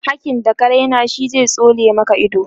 hakkin da ka Raina shi zai tsole Maka ido